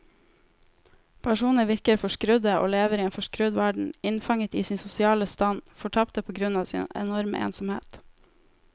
Personene virker forskrudde og lever i en forskrudd verden, innfanget i sin sosiale stand, fortapte på grunn av sin enorme ensomhet.